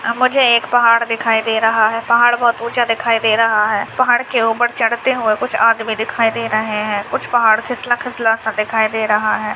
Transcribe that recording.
अ-मुझे एक पहाड़ दिखाई दे रहा है पहाड़ बहुत ऊँचा दिखाई दे रहा है पहाड़ के ऊपर चढ़ते हुए कुछ आदमी दिखाई दे रहे है कुछ पहाड़ खिसला-खिसला सा दिखाई दे रहा है।